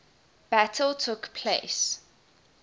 battle took place